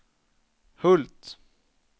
Hult